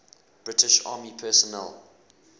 british army personnel